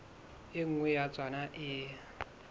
e nngwe ya tsona e